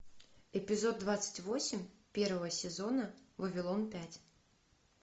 эпизод двадцать восемь первого сезона вавилон пять